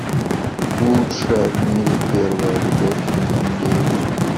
лучшая в мире первая любовь сезон девять